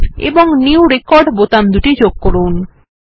save এবং new record button দুটি যোগ করুন